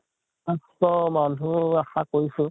পাচঁশ মানুহ আশা কৰিছো